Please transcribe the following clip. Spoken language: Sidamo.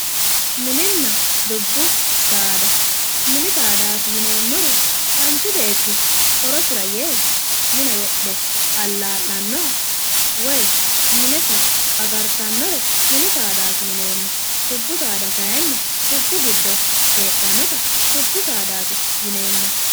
Mininna dubbu saada mini saadaati yineemmori manchi beetti horosira yee mine wodhe allaa'lannoha woyi minesi agartannore mini saadaati yineemmo dubbu saadaa kaayiinni dubbu giddo heedhannota dubbu sadaati yineemmo